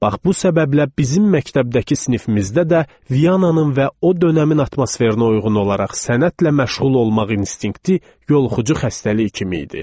Bax bu səbəblə bizim məktəbdəki sinifimizdə də Viannanın və o dönəmin atmosferinə uyğun olaraq sənətlə məşğul olmaq instinkti yoluxucu xəstəlik kimi idi.